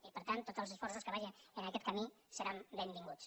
i per tant tots els esforços que vagin en aquest camí seran benvinguts